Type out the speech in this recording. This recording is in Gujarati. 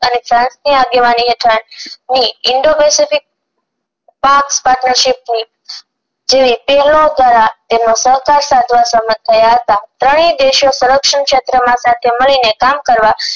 અને ફ્રાંસ ની આગેવાની હેઠળ ના ની indo pacific જેવી તેલ નો કરાર તેનો સહકાર સાધવા સમર્થ થાય હતા ત્રણેય દેશો કરપ્શન ક્ષેત્રો માં સાથે મળી ને કામ કરવા